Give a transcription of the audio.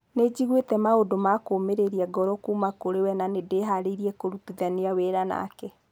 Nĩjiguĩte maũndũ ma kũmĩrĩria ngoro kuuma kũrĩwe na nĩ-ndĩharĩirie kũrutithania wĩra nake".